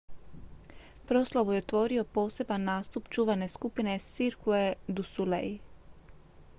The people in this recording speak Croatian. proslavu je otvorio poseban nastup čuvene skupine cirque du soleil